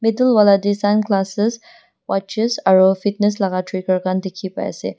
etu wala te sunglasses watches fitness laka trigger khan dekhi pai ase.